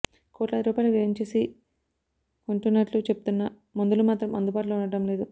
కోట్లాది రూపాయలు వ్యయం చేసి కొంటున్నట్లు చెప్తున్నా మందులు మాత్రం అందుబాటులో ఉండటం లేదు